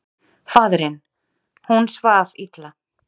Faðirinn: Hún svaf illa.